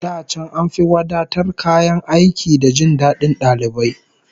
Da can an fi wadatar kayan aiki da jin dadin dalibai